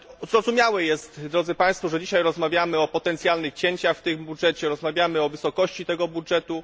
Zrozumiałe jest, drodzy Państwo, że dzisiaj rozmawiamy o potencjalnych cięciach w tym budżecie, rozmawiamy o wysokości tego budżetu.